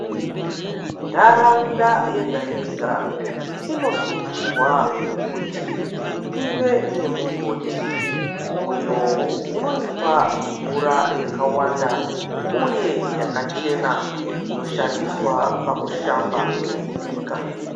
Ntharaunda yega yega inosungirwa kuti ive nemugodhi uyo unoipa mvura yakawanda uye yakachena inoshandiswa pakushamba nekubika.